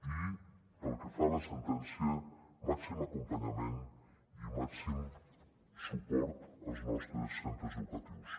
i pel que fa a la sentència màxim acompanyament i màxim suport als nostres centres educatius